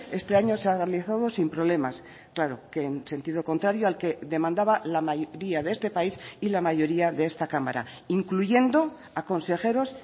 este año se ha realizado sin problemas claro que en sentido contrario al que demandaba la mayoría de este país y la mayoría de esta cámara incluyendo a consejeros